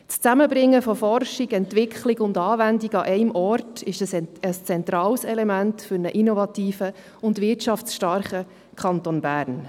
Das Zusammenbringen von Forschung, Entwicklung und Anwendung an einem Ort ist ein zentrales Element für einen innovativen und wirtschaftsstarken Kanton Bern.